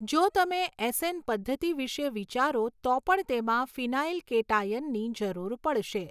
જો તમે એસએન પદ્ધતિ વિશે વિચારો તો પણ તેમાં ફિનાઇલ કેટાયનની જરૂર પડશે.